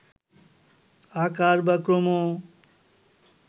আকার বা ক্রম